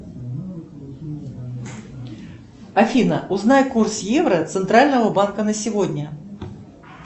афина узнай курс евро центрального банка на сегодня